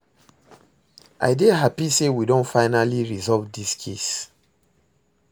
I dey happy say we don finally resolve dis case